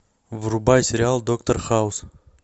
врубай сериал доктор хаус